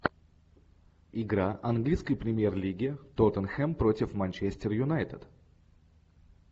игра английской премьер лиги тоттенхэм против манчестер юнайтед